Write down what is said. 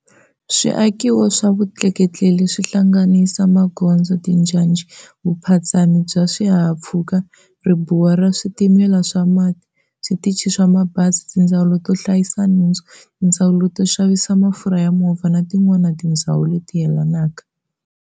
Swiakiwo swa vutleketli leswi hlanganisa, magondzo, tinjhanjhi, vuphatsami bya swihahampfhuka, Ribuwa ra switimela swa mati, switchi swa mabhazi, tindzhawu to hlayisa nhundzu, tindzawu to xavisa mafurha ya movha, na tin'wana tindzhawu leti yelanaka.